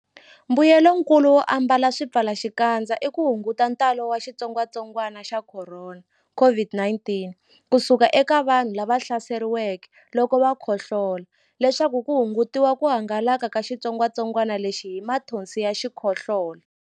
Mbuyelonkulu wo ambala swipfalaxikandza i ku hunguta ntalo wa xitsongwantsongwana xa Khorona, COVID-19 ku suka eka vanhu lava hlaseriweke loko va khohlola leswaku ku hungutiwa ku hangalaka ka xitsongwantsongwana lexi hi mathonsi ya xikhohlola.